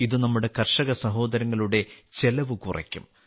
ഇത് നമ്മുടെ കർഷക സഹോദരങ്ങളുടെ ചെലവ് കുറയ്ക്കും